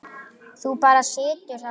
Þú bara situr þarna.